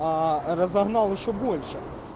аа разогнал ещё больше